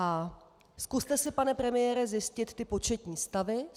A zkuste si, pane premiére, zjistit ty početní stavy.